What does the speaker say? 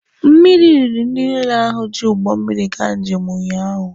Mmiri riri ndị niile ahụ ji ụgbọ mmiri gaa njem ụnyaahụ.